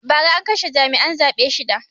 Ba ra an kashe jami'an zaɓe shida